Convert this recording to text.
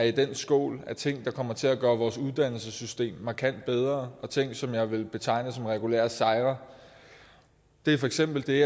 i den skål af ting der kommer til at gøre vores uddannelsessystem markant bedre og ting som jeg vil betegne som regulære sejre det er for eksempel det